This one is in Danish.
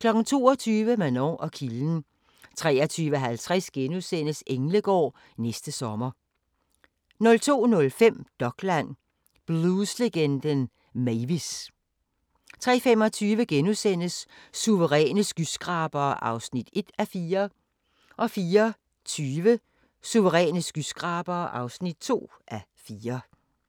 22:00: Manon og kilden 23:50: Englegård – næste sommer * 02:05: Dokland: Blueslegenden Mavis! 03:25: Suveræne skyskrabere (1:4)* 04:20: Suveræne skyskrabere (2:4)